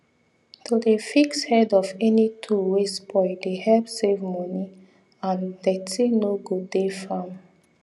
to dey fix head of of any tool wey spoil dey help save moni and dirty no go dey farm